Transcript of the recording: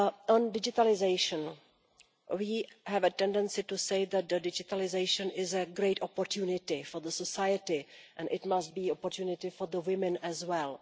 On digitalisation we have a tendency to say that digitalisation is a great opportunity for society, and it must be an opportunity for women as well.